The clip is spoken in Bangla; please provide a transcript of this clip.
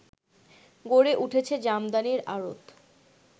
গড়ে উঠেছে জামদানির আড়ত